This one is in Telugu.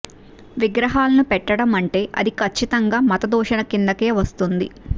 విగ్రహాలను పెట్టడం అంటే అది కచ్చితంగా మత దూషణ కిందకే వస్తుంది